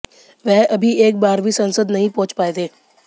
वह अभी एक बार भी संसद नहीं पहुँच पाए थे